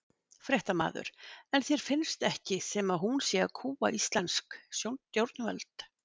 Fréttamaður: En þér finnst ekki sem að hún sé að kúga íslensk stjórnvöld?